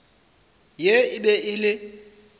ye e be e le